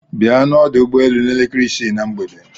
Bia n'ọdụ ụgbọelu n'elekere isii na mgbede.